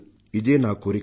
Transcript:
ఇదే నా కోరిక